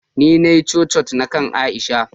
ni ne na Yi "crochet na kain Aisha.